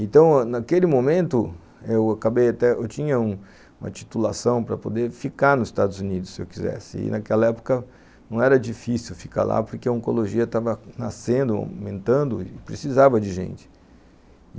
Então, naquele momento, eu acabei até, eu tinha um uma titulação para poder ficar nos Estados Unidos, se eu quisesse, e naquela época não era difícil ficar lá, porque a oncologia estava nascendo, aumentando, e precisava de gente.